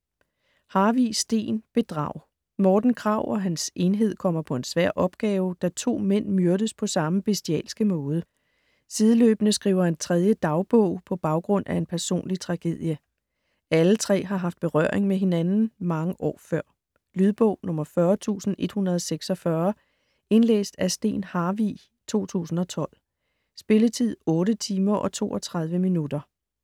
Harvig, Steen: Bedrag Morten Krag og hans enhed kommer på en svær opgave, da to mænd myrdes på samme bestialske måde. Sideløbende skriver en tredje dagbog på baggrund af en personlig tragedie. Alle tre har haft berøring med hinanden mange år før. Lydbog 40146 Indlæst af Steen Harvig, 2012. Spilletid: 8 timer, 32 minutter.